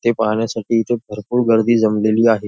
ते पाहण्यासाठी इथे भरपूर गर्दी जमलेली आहे.